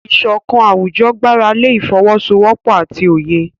Ìṣọ̀kan àwùjọ gbára lé ìfọwọ́sowọ́pọ̀ àti òye.